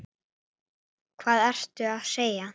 Hvað ertu að segja!